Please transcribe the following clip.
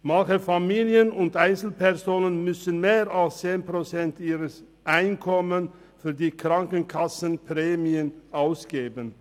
Manche Familien und Einzelpersonen müssen mehr als 10 Prozent ihres Einkommens für die Krankenkassenprämien ausgeben.